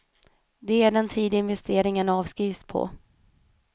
De är den tid investeringen avskrivs på.